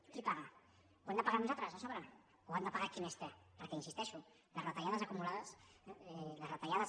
qui paga ho hem de pagar nosaltres a sobre o ha de pagar qui més té perquè hi insisteixo les retallades acumulades les retallades